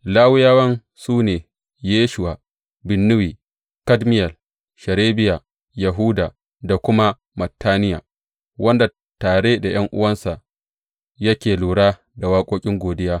Lawiyawan su ne Yeshuwa, Binnuyi, Kadmiyel, Sherebiya, Yahuda, da kuma Mattaniya, wanda tare da ’yan’uwansa yake lura da waƙoƙin godiya.